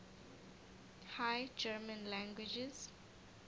high german languages